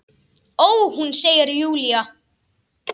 Ó, hún, segir Júlía.